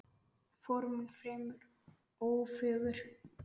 Formin fremur ófögur.